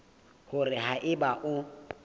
ke hore ha eba o